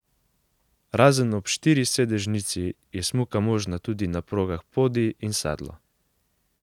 Razen ob štirisedežnici je smuka možna tudi na progah Podi in Sedlo.